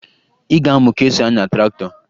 Ị ga-amụ ka e si anya traktọ